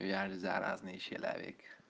я ведь заразный человек